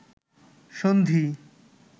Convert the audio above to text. সন্ধি